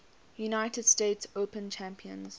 united states open champions